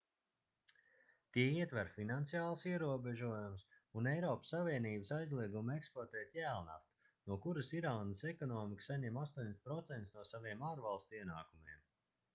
tie ietver finansiālus ierobežojumus un eiropas savienības aizliegumu eksportēt jēlnaftu no kuras irānas ekonomika saņem 80% no saviem ārvalstu ienākumiem